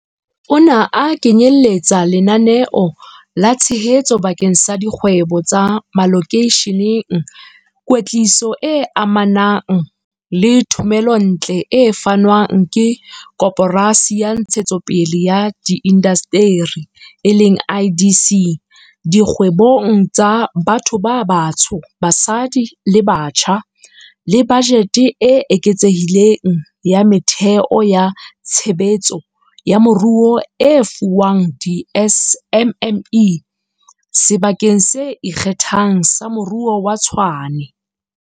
Ona a kenyeletsa lenaneo la tshehetso bakeng sa dikgwebo tsa malokeisheneng, kwetliso e amanang le thomelontle e fanwang ke Koporasi ya Ntshetsopele ya Diindasteri, IDC, dikgwebong tsa batho ba batsho, basadi le batjha, le bajete e eketsehileng ya metheo ya tshebetso ya moruo e fuwang di-SMME Sebakeng se Ikgethang sa Moruo sa Tshwane.